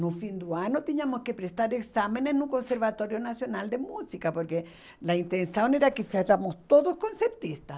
No fim do ano, tínhamos que prestar exames no Conservatório Nacional de Música, porque a intenção era que éramos todos concertistas.